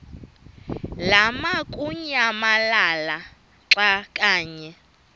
lamukunyamalala xa kanye